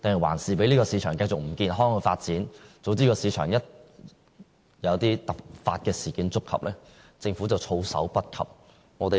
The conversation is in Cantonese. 還是讓這個市場繼續不健康地發展，總之市場一旦有突發事件，政府便措手不及。